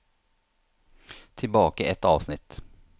Tilbake ett avsnitt